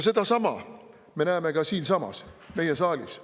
Sedasama me näeme ka siinsamas, meie saalis.